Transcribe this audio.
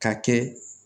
Ka kɛ